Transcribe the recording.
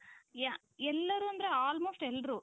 ya ಎಲ್ಲರೂ ಅಂದ್ರೆ almost ಎಲ್ರೂ